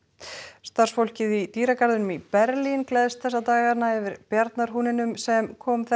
starfsfólkið í dýragarðinum í Berlín gleðst þessa dagana yfir sem kom